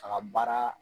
A ka baara